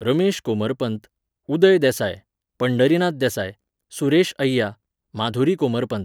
Ramesh Komarpant, Uday Desai, Pandharinath Desai, Suresh Ayya, Madhuri Komarpant